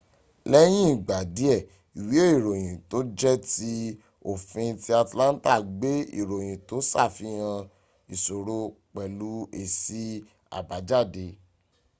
leyin igba die iwe iroyin to je ti ofin ti atlanta gbe iroyinto safihan isoro pelu esi abajade